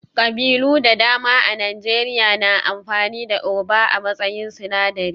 Ƙabilu da dama a Najeriya na amfani da Ugba a matsayin sinadari